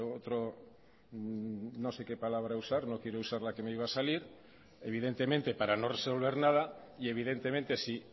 otro no sé qué palabra usar no quiero usar la que me iba a salir evidentemente para no resolver nada y evidentemente si